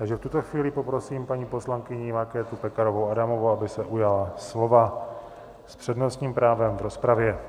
Takže v tuto chvíli poprosím paní poslankyni Markétu Pekarovou Adamovou, aby se ujala slova s přednostním právem v rozpravě.